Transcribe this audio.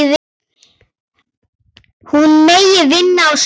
Hún megi vinna á sumrin.